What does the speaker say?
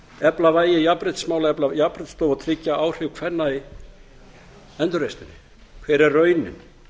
efla vægi jafnréttismála efla jafnréttisstofu og tryggja áhrif kvenna í endurreisninni hver er raunin